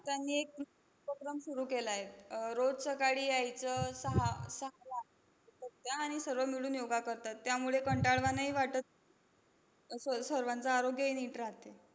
त्यांनी एक उपक्रम सुरु केलाय. आह रोज सकाळी यायचं, सहा सहाला येतात त्या आणि सर्व मिळून योगा करतात. त्यामुळे कंटाळवाणंही वाटत स सर्वांचं आरोग्यही नीट राहते.